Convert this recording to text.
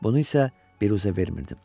Bunu isə büruzə vermirdim.